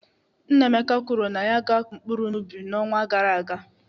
Nnaemeka kwuru na ya ga-akụ mkpụrụ n'ubi n'ọnwa gara aga.